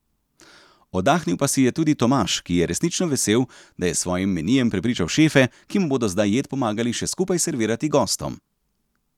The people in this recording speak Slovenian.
Oddahnil pa si je tudi Tomaš, ki je resnično vesel, da je s svojim menijem prepričal šefe, ki mu bodo zdaj jed pomagali še skupaj servirati gostom.